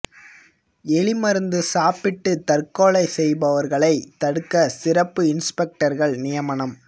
எலி மருந்து சாப்பிட்டு தற்கொலை செய்பவர்களை தடுக்க சிறப்பு இன்ஸ்பெக்டர்கள் நியமனம்